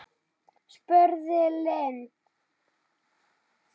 spurði Lind.